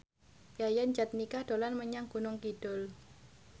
Yayan Jatnika dolan menyang Gunung Kidul